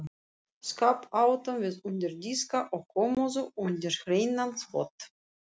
Skáp áttum við undir diska og kommóðu undir hreinan þvott.